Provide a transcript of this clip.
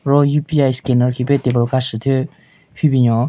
Ro UPI scanner khipe table ka shu thyu hyu binyon.